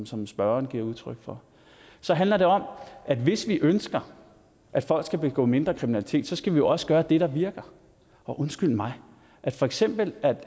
som spørgeren giver udtryk for så handler det om at hvis vi ønsker at folk skal begå mindre kriminalitet skal vi jo også gøre det der virker og undskyld mig ved for eksempel